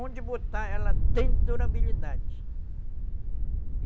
Onde botar, ela tem durabilidade.